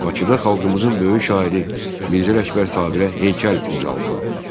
Bakıda xalqımızın böyük şairi Mirzə Ələkbər Sabirə heykəl ucaldıldı.